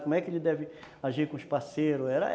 Como é que ele deve agir com os parceiros?